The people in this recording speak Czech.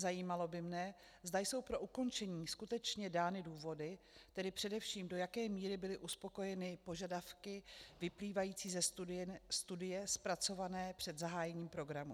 Zajímalo by mne, zda jsou pro ukončení skutečně dány důvody, tedy především do jaké míry byly uspokojeny požadavky vyplývající ze studie zpracované před zahájením programu.